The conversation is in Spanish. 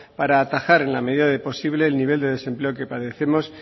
para atajar en la medida de lo posible el nivel de desempleo que padecemos